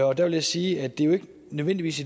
og der vil jeg sige at det jo ikke nødvendigvis